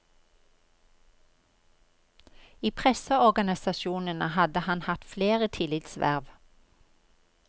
I presseorganisasjonene har han hatt flere tillitsverv.